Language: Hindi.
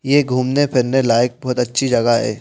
यह घूमने फिरने लायक बहुत अच्छी जगह है।